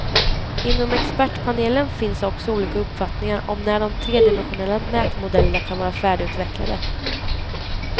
Inom expertpanelen finns också olika uppfattningar om när de tredimensionella mätmodellerna kan vara färdigutvecklade.